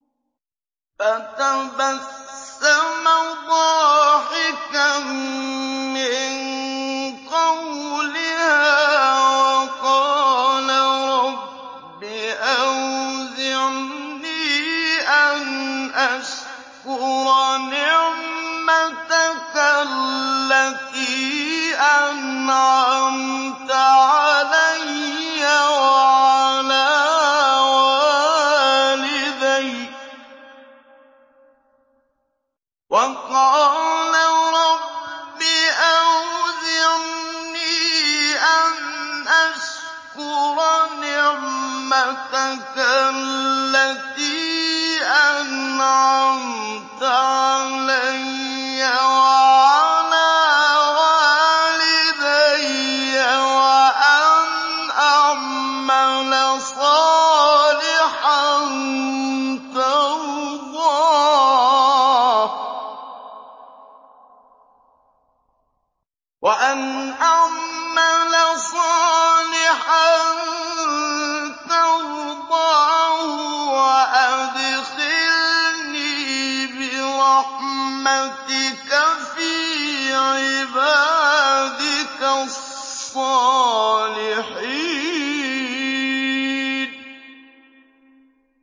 فَتَبَسَّمَ ضَاحِكًا مِّن قَوْلِهَا وَقَالَ رَبِّ أَوْزِعْنِي أَنْ أَشْكُرَ نِعْمَتَكَ الَّتِي أَنْعَمْتَ عَلَيَّ وَعَلَىٰ وَالِدَيَّ وَأَنْ أَعْمَلَ صَالِحًا تَرْضَاهُ وَأَدْخِلْنِي بِرَحْمَتِكَ فِي عِبَادِكَ الصَّالِحِينَ